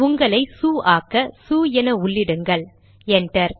உங்களையே சு ஆக்க சு என உள்ளிடுங்கள் என்டர்